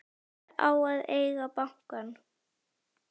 Hver á að eiga banka?